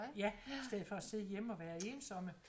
Ja i stedet for at sidde hjemme at være ensomme